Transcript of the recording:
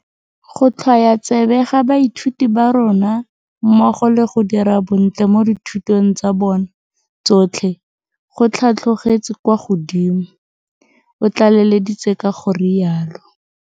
Go tlhwoya tsebe ga baithuti ba rona mmogo le go dira bontle mo dithutong tsa bona tsotlhe go tlhatlhogetse kwa godimo, o tlaleleditse ka go rialo.